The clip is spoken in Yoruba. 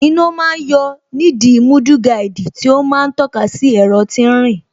Iná ma ń yọ nídìí mudguard tí ó ma ń tọ́ka sí ẹ̀rọ tí ń rìn